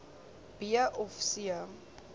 b of c